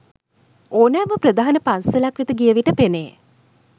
ඕනෑම ප්‍රධාන පන්සලක් වෙත ගිය විට පෙනේ.